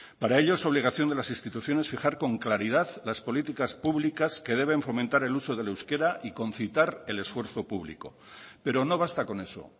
para ello es obligación de las instituciones fijar con claridad las políticas públicas que deben fomentar el uso del euskera y concitar el esfuerzo público pero no basta con eso